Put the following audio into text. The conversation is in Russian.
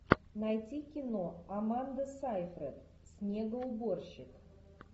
найти кино аманда сейфрид снегоуборщик